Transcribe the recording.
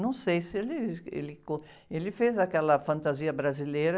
Não sei se ele, ele... Ele fez aquela fantasia brasileira